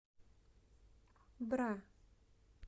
бра